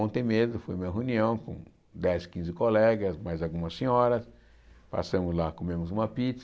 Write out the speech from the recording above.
Ontem mesmo, eu fui à uma reunião com dez, quinze colegas, mais algumas senhoras, passamos lá, comemos uma pizza.